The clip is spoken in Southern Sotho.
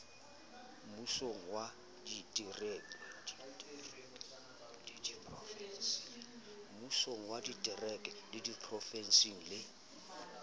mmusong wa ditereke diprofensi le